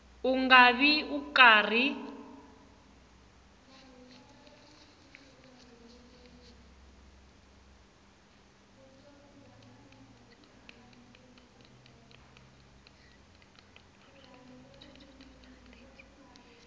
u nga vi u karhi